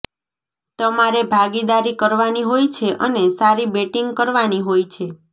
તમારે ભાગીદારી કરવાની હોય છે અને સારી બેટીંગ કરવાની હોય છે